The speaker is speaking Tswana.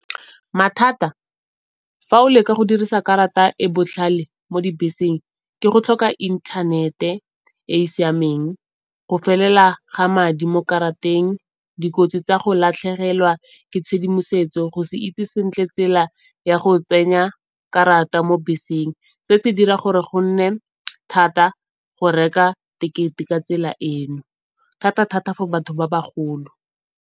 Mathata fa o leka go dirisa karata e botlhale mo dibeseng ke go tlhoka inthanete e e siameng, go felela ga madi mo karateng, dikotsi tsa go latlhegelwa ke tshedimosetso, go se itse sentle tsela ya go tsenya karata mo beseng. Se se dira gore go nne thata go reka tekete ka tsela e, thata-thata for batho ba bagolo.